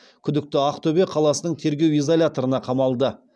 күдікті ақтөбе қаласының тергеу изоляторына қамалды